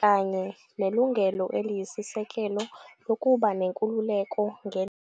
kanye " nelungelo eliyisisekelo lokuba nenkululeko ngendlala ".